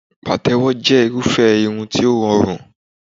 Pàtẹ́wọ́ jẹ́ irúfẹ́ irun tí ó rọrùn